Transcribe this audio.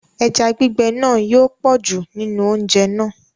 Ẹja gbígbẹ̀ náà yóò pọ̀jù nínú oúnjẹ̀ náà.